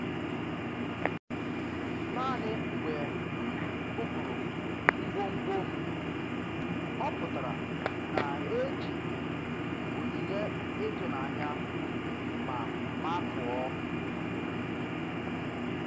Naanị mgbe m bupụrụ ngwongwo m, ọ pụtara na-eji onyinye ịtụnanya ma makụọ.